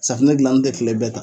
Safunɛ dilanni tɛ tile bɛɛ ta.